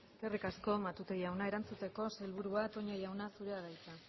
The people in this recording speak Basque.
eskerrik asko matute jauna erantzuteko sailburua toña jauna zurea da hitza